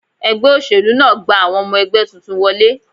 Ẹgbẹ́ òṣèlú náà gba àwọn ọmọ ẹgbẹ́ tuntun wọlé